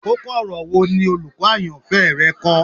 Koko-ọrọ wo ni olukọ ayanfẹ rẹ kọ?